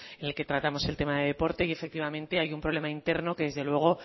en el que tratamos el tema de deporte y efectivamente hay un problema interno que desde luego